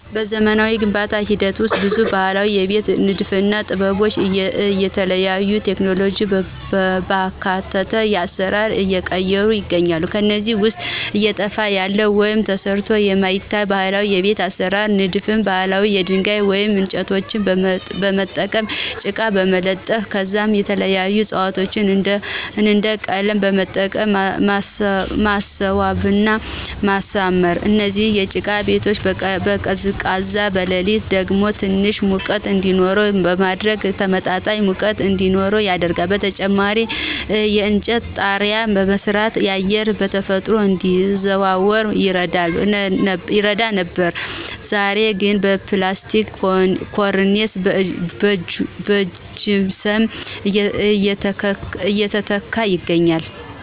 በዘመናዊ የግንባታ ሂደት ውስጥ ብዙ የባህላዊ የቤት ንድፍና ጥበቦች እየተተው ቴክኖሎጂን ባካተተ አሰራር እየተቀየሩ ይገኛሉ። ከነዚህም ውስጥ እየጠፋ ያለ ወይም ተረስቶ የሚታይ ባህላዊ የቤት አሰራር ንድፍ ባህል የድንጋይ ወይም እንጨቶችን በመጠቀም ጭቃ በመለጠፍ ከዛም የተለያዩ ዕፅዋቶችን እንደ ቀለም በመጠቀም ማስዋብና ማሳመር። እነዚህ የጭቃ ቤቶች በቀን ቀዝቃዛ በሌሊት ደግሞ ትንሽ ሙቀት እንዲኖረው በማድረግ ተመጣጣኝ ሙቀት እዲኖር ያደርጋሉ። በተጨማሪም የእንጨት ጣሪያ በመስራት አየር በተፈጥሮ እንዲዘዋወር ይረዳ ነበር ዛሬ ግን በፕላስቲክ ኮርኒስና በጅፕሰም እየተተካ ይገኛል።